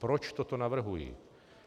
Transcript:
Proč toto navrhuji?